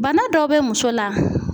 Bana dɔ bɛ muso la.